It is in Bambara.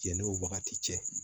Yanni o wagati cɛ